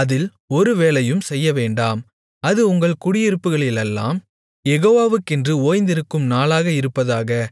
அதில் ஒரு வேலையும் செய்யவேண்டாம் அது உங்கள் குடியிருப்புகளிலெல்லாம் யெகோவாவுக்கென்று ஓய்ந்திருக்கும் நாளாக இருப்பதாக